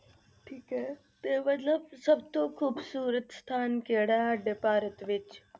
ਠੀਕ ਹੈ ਤੇ ਮਤਲਬ ਸਭ ਤੋਂ ਖ਼ੂਬਸ਼ੂਰਤ ਸਥਾਨ ਕਿਹੜਾ ਹੈ ਸਾਡਾ ਭਾਰਤ ਵਿੱਚ?